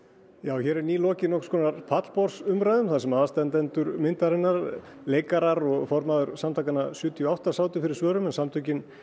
hér er nýlokið nokkurs konar pallborðsumræðum þar sem aðstandendur myndarinnar leikarar og formaður samtakanna sjötíu og átta sátu fyrir svörum en samtökin